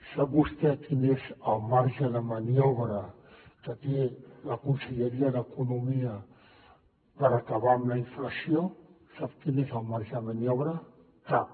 sap vostè quin és el marge de maniobra que té la conselleria d’economia per acabar amb la inflació sap quin és el marge de maniobra cap